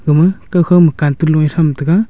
ama kawkhaw ma cantun loe thram tega.